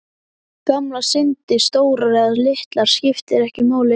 Gamlar syndir, stórar eða litlar, skipta ekki máli.